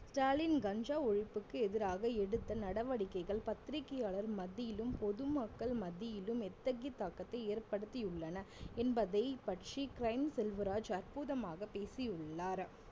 ஸ்டாலின் கஞ்சா ஒழிப்புக்கு எதிராக எடுத்த நடவடிக்கைகள் பத்திரிக்கையாளர் மத்தியிலும் பொதுமக்கள் மத்தியிலும் எத்தகைய தாக்கத்தை ஏற்படுத்தியுள்ளன என்பதை பற்றி crime செல்வராஜ் அற்புதமாக பேசியுள்ளார்